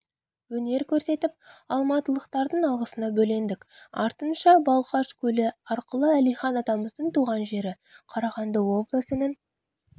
өнер көрсетіп алматылықтардың алғысына бөлендік артынша балқаш көлі арқылы әлихан атамыздың туған жері қарағанды облысының